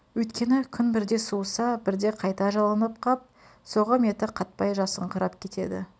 өйткеңі күн бірде суыса бірде қайта жылынып қап соғым еті қатпай жасыңқырап кетеді